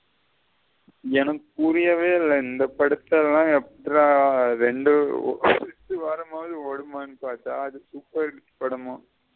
எனக்கு புரியவே இல்ல இந்த படதல்ல எப்புடிடற ரெண்டு வாரமாவது ஓடுமானு பார்த்த படமா.